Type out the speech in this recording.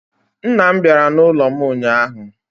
Nna m bịara n'ụlọ m ụnyahụ